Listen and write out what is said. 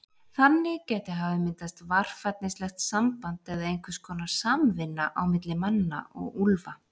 Þannig gæti hafa myndast varfærnislegt samband eða einhvers konar samvinna á milli manna og úlfa.